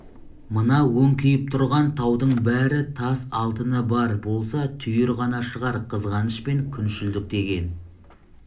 мына өңкиіп тұрған таудың бәрі тас алтыны бар болса түйір ғана шығар қызғаныш пен күншілдік деген